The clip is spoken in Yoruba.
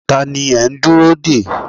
Ta ni ẹ ń dúró dè?